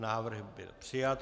Návrh byl přijat.